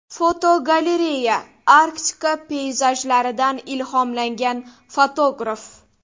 Fotogalereya: Arktika peyzajlaridan ilhomlangan fotograf.